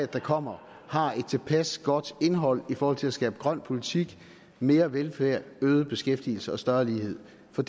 der kommer har et tilpas godt indhold i forhold til at skabe grøn politik mere velfærd øget beskæftigelse og større lighed for